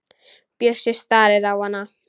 Bjössi starir á hana.